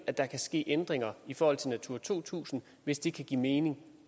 at der kan ske ændringer i forhold til natura to tusind hvis det giver mening